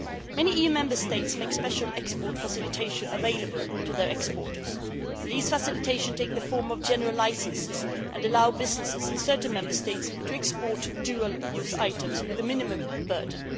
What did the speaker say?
Many Member States make special export facilitations available to their exporters. These facilitations take the form of general licences and allow businesses in certain Member States to export dual use items with the minimum burden.